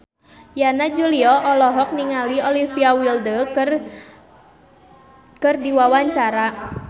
Yana Julio olohok ningali Olivia Wilde keur diwawancara